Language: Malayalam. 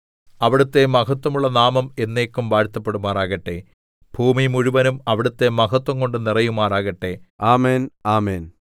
അവിടുത്തെ മഹത്വമുള്ള നാമം എന്നേക്കും വാഴ്ത്തപ്പെടുമാറാകട്ടെ ഭൂമി മുഴുവനും അവിടുത്തെ മഹത്വംകൊണ്ട് നിറയുമാറാകട്ടെ ആമേൻ ആമേൻ